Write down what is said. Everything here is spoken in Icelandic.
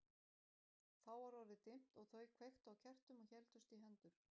Þá var orðið dimmt og þau kveiktu á kertum og héldust í hendur.